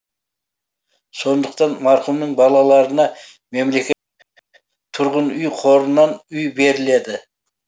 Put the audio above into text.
сондықтан марқұмның балаларына тұрғын үй қорынан үй беріледі